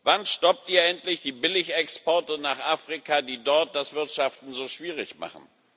Wann stoppt ihr endlich die Billigexporte nach Afrika, die dort das Wirtschaften so schwierig machen?